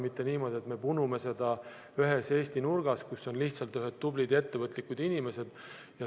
Mitte niimoodi, et me punume seda ühes Eesti nurgas, kus on lihtsalt ühed tublid ja ettevõtlikud inimesed.